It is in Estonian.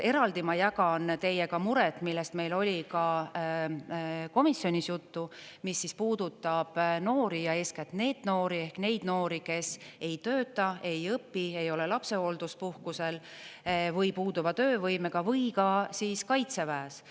Eraldi ma jagan teiega muret, millest meil oli ka komisjonis juttu, mis puudutab noori ja eeskätt NEET-noori, ehk neid noori, kes ei tööta, ei õpi, ei ole lapsehoolduspuhkusel või puuduva töövõimega või ka kaitseväes.